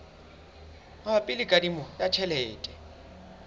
mabapi le kadimo ya tjhelete